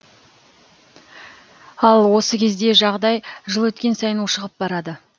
ал осы кезде жағдай жыл өткен сайын ушығып барады